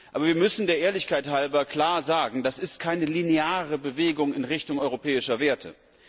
Aber wir müssen der Ehrlichkeit halber klar sagen, das ist keine lineare Bewegung in Richtung europäischer Werte.